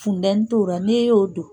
Funtɛni t'ora n'i y'o don.